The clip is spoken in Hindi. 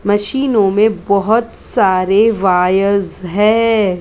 मशीनों में बहुत सारे वायेर्स है ऊपर--